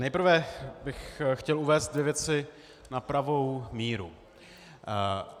Nejprve bych chtěl uvést dvě věci na pravou míru.